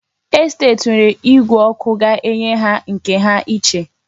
Estet nwere igwe ọkụ ga-enye ha nke ha iche.